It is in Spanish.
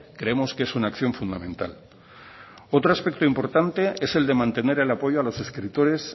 creemos que es una acción fundamental otro aspecto importante es el de mantener el apoyo a los escritores